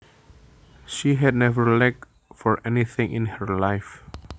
She had never lacked for anything in her life